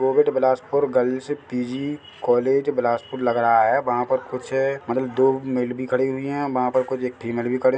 Rohit Bilaspur girls PG college Balaspur लग रहा है वहाँ पर कुछ मतलब दो मेल भी खड़ी हुई है वहाँ पर कुछ एक फीमेल भी खड़े।